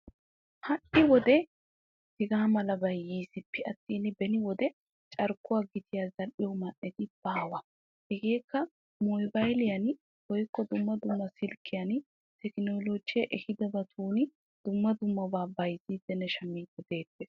Hai wode hega malabay yisippe attin beni wode carkkuwa gitiyan zal'iyo man'etti bawa. Hegekka mobayliyian woykko dumma dumma silkiyani tekkinolije ehidobatun dumma dummabata bayzzidinne shammidi deosona.